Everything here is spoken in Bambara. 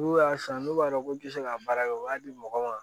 N'u y'a san n'u b'a dɔn k'u tɛ se ka baara kɛ u b'a di mɔgɔw ma